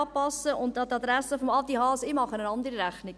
Und an die Adresse von Adi Haas: Ich mache eine andere Rechnung.